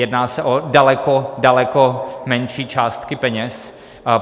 Jedná se o daleko, daleko menší částky peněz.